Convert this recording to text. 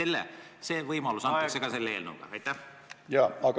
Kas see võimalus antakse selle eelnõu kohaselt?